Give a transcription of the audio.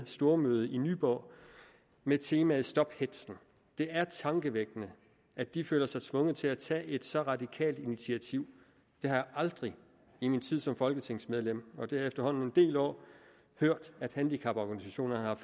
stormøde i nyborg med teamet stop hetzen det er tankevækkende at de føler sig tvunget til at tage et så radikalt initiativ jeg har aldrig i min tid som folketingsmedlem og det er efterhånden en del år hørt at handicaporganisationerne har